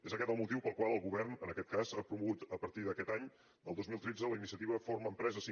és aquest el motiu pel qual el govern en aquest cas ha promogut a partir d’aquest any del dos mil tretze la iniciativa forma empresa50